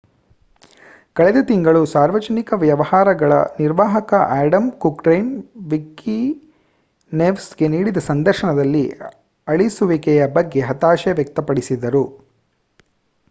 ಕಳೆದ ತಿಂಗಳು ಸಾರ್ವಜನಿಕ ವ್ಯವಹಾರಗಳ ನಿರ್ವಾಹಕ ಆಡಮ್ ಕ್ಯುರ್ಡೆನ್ ವಿಕಿನೆವ್ಸ್‌ಗೆ ನೀಡಿದ ಸಂದರ್ಶನದಲ್ಲಿ ಅಳಿಸುವಿಕೆಯ ಬಗ್ಗೆ ಹತಾಶೆ ವ್ಯಕ್ತಪಡಿಸಿದರು